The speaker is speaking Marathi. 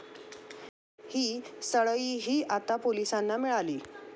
ही सळईही आता पोलिसांना मिळाली.